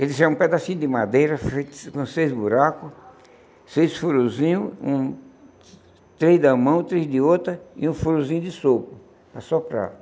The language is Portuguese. Ele tinha um pedacinho de madeira, com seis buracos, seis furosinhos hum, três de uma mão, três de outra, e um furozinho de sopro, para soprar.